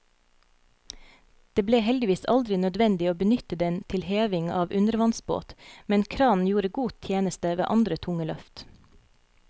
Det ble heldigvis aldri nødvendig å benytte den til heving av undervannsbåt, men kranen gjorde god tjeneste ved andre tunge løft.